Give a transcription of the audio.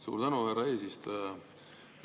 Suur tänu, härra eesistuja!